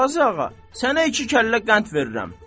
Qazı ağa, sənə iki kəllə qənd verirəm.